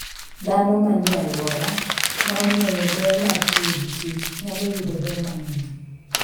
Dhano manie alwora ma ong'eyo ber mar tiyo gi kich nyalo yudo ber mang'eny.